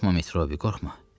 Qorxma, Metrobi, qorxma.